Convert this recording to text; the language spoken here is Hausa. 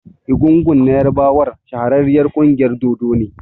Egungun na ƴarbawa m shahararriyar ƙungiyar dodo ne.